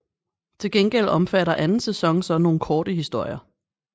Til gengæld omfatter anden sæson så nogle korte historier